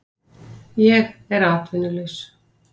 Ég er atvinnulaus